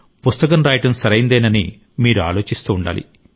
పుస్తకం రాయడం సరైందేనని మీరు ఆలోచిస్తూ ఉండాలి